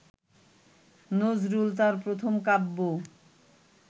নজরুল তাঁর প্রথম কাব্য